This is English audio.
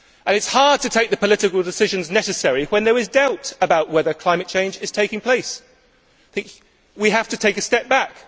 It is hard to take the political decisions necessary when there is doubt about whether climate change is taking place. We have to take a step back